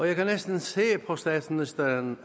jeg kan næsten se på statsministeren